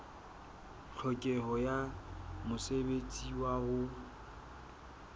tlhokeho ya mosebetsi wa ho